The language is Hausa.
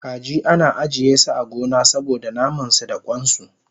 Kaji ana ajiyesu a gona saboda namansu da kwansu